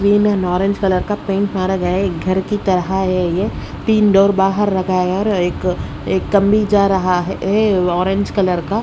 Green और orange colour का paint मारा गया है एक घर की तरह है ये तीन डोर बाहर लगा है और एक-एक कमी जा रहा है ये ऑरेंज कलर का।